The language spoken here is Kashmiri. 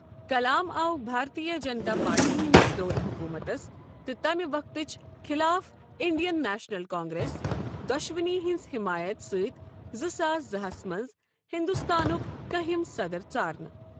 کلام آو بھارتیہ جنتا پارٹی ہندس دورِ حکوٗمتس تہٕ تمِہ وقتٕچ خلاف انڈین نیشنل کانگریس دۄشوٕنی ہنٛز حمایت سۭتۍ زٕ ساس زٕ ہَس منٛز ہندوستانُک کٔہِم صدر ژارنہٕ۔